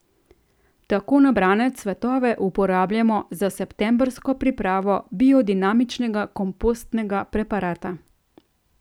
Tako nabrane cvetove uporabljamo za septembrsko pripravo biodinamičnega kompostnega preparata.